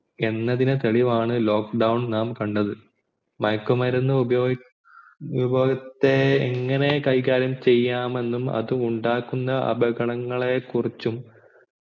എന്നതിന് തെളിവാണ് lock down ഇത് നാം കണ്ടത് മയക്കുമരുന്നു ഉപയോഗത്തെ എങ്ങനെ കൈകാര്യം എന്നും അത് ഉണ്ടാകുന്ന അപകടങ്ങളെ കുറിച്ചും